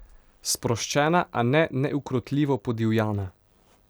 Sproščena, a ne neukrotljivo podivjana.